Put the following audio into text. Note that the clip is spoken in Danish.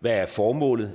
hvad formålet